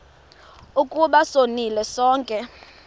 ukuba sonile sonke